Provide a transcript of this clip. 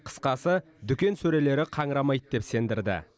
қысқасы дүкен сөрелері қаңырамайды деп сендірді